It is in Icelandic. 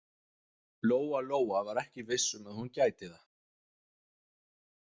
Lóa-Lóa var ekki viss um að hún gæti það.